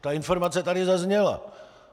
Ta informace tady zazněla.